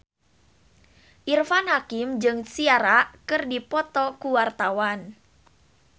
Irfan Hakim jeung Ciara keur dipoto ku wartawan